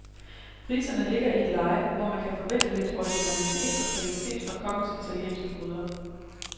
Priserne ligger i et leje, hvor man kan forvente lidt originalitet og kvalitet fra kokkens italienske gryder.